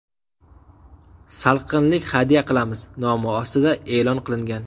Salqinlik hadya qilamiz” nomi ostida e’lon qilingan.